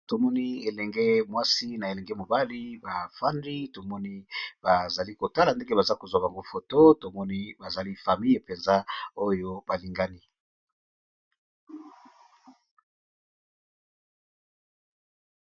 Tomoni elenge mwasi na elenge mobali ba fandi tomoni bazali kotala ndenge baza kozwa bango photo tomoni bazali famille penza oyo balingani.